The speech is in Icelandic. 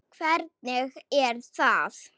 Hvernig er það?